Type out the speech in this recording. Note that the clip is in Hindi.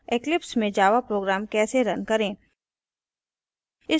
eclipse में java program कैसे रन करें